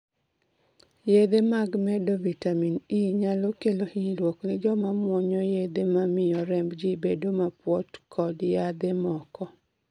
Yadhe mag medo vitamin E nyalo kelo hinyruok ni joma muonyo yadhe ma miyo remb gi bedo mapuot kod yadhe moko